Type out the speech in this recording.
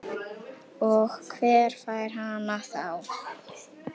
Og hver fær hana þá?